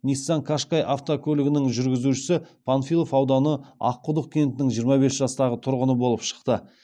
ниссан кашкай автокөлігінің жүргізушісі панфилов ауданы аққұдық кентінің жиырма бес жастағы тұрғыны болып шықты